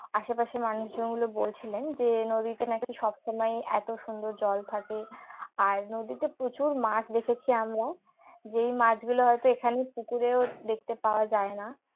আশেপাশের মানুষজন গুলো বলছিলেন যে নদীতে নাকি সব সময় এত সুন্দর জল থাকে আর নদীতে প্রচুর মাছ দেখেছি আমরা যেই মাছগুলো হয়তো এখানে পুকুরেও দেখতে পাওয়া যায় না